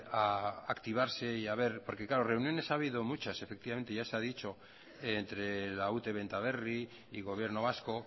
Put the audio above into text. a activarse y a ver porque reuniones ha habido muchas efectivamente ya se ha dicho entre la ute benta berri y gobierno vasco